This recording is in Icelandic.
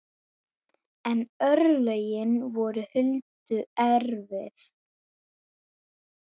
En örlögin voru Huldu erfið.